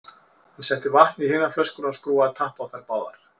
Hann setti vatn í hina flöskuna og skrúfaði tappa á þær báðar.